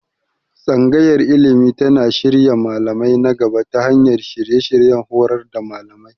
Tsangayar Ilimi tana shirya malamai na gaba ta hanyar shirye-shiryen horar da malamai.